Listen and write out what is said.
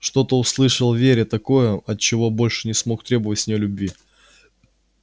что-то услышал в вере такое от чего больше не смог требовать с нее любви